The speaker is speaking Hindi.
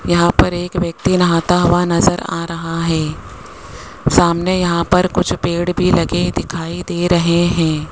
यहां पर एक व्यक्ति नहाता हुआ नजर आ रहा है सामने यहां पर कुछ पेड़ भी लगे दिखाई दे रहे हैं।